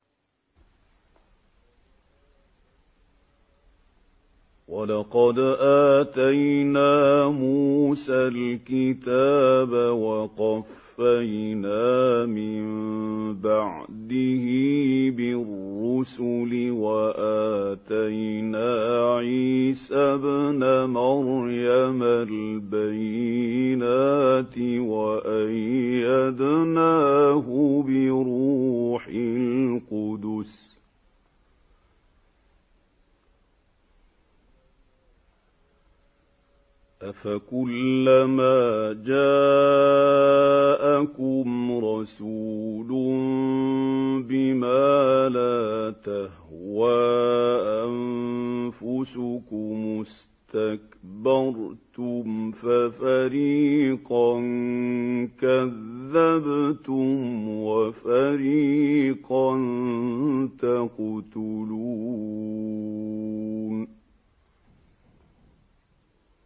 وَلَقَدْ آتَيْنَا مُوسَى الْكِتَابَ وَقَفَّيْنَا مِن بَعْدِهِ بِالرُّسُلِ ۖ وَآتَيْنَا عِيسَى ابْنَ مَرْيَمَ الْبَيِّنَاتِ وَأَيَّدْنَاهُ بِرُوحِ الْقُدُسِ ۗ أَفَكُلَّمَا جَاءَكُمْ رَسُولٌ بِمَا لَا تَهْوَىٰ أَنفُسُكُمُ اسْتَكْبَرْتُمْ فَفَرِيقًا كَذَّبْتُمْ وَفَرِيقًا تَقْتُلُونَ